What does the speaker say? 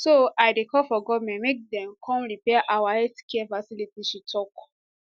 so i dey call for goment make dem come repair our healthcare facility she tok